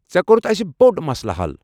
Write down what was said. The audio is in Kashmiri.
ژےٚ کوٚرُتھ اسہِ بوٚڑ مسلہٕ حل۔